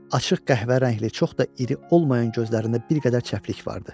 Açıq qəhvə rəngli, çox da iri olmayan gözlərində bir qədər çəplik vardı.